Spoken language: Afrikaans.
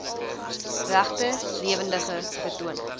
regte lewendige vertonings